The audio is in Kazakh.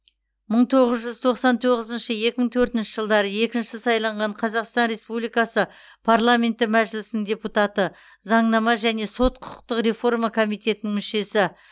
мың тоғыз жүз тоқсан тоғызыншы екі мың төртінші жылдары екінші сайланған қазақстан республикасы парламенті мәжілісінің депутаты заңнама және сот құқықтық реформа комитетінің мүшесі